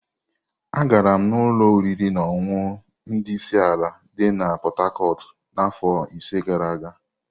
Agara m ụlọ oriri na ọṅụṅụ ndi isi ala di na Pot-Tarcot afọ ise gara aga.